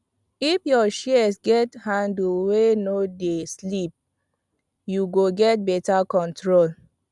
if your shears get handle wey no dey slip you go get better control